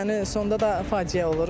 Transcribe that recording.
Yəni sonda da faciə olur.